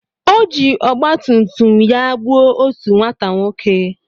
O ji ọgbatumtum ya gbuo otu nwata nwoke.